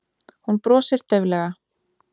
Hún brosir dauflega.